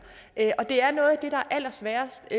og det er noget af det der er allersværest